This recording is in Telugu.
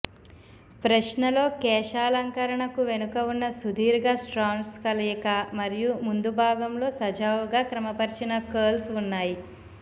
ప్రశ్నలో కేశాలంకరణకు వెనుక ఉన్న సుదీర్ఘ స్ట్రాండ్స్ కలయిక మరియు ముందు భాగంలో సజావుగా క్రమపరచిన కర్ల్స్ ఉన్నాయి